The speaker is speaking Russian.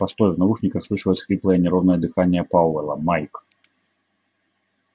постой в наушниках слышалось хриплое неровное дыхание пауэлла майк